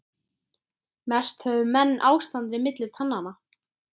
Mest höfðu menn ástandið milli tannanna.